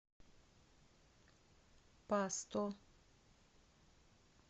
пасто